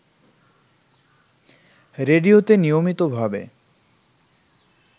রেডিওতে নিয়মিতভাবে